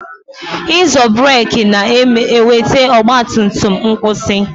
Ịzo burek na-eweta ọgba tum tum n'kwusi